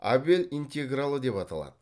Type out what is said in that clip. абел интегралы деп аталады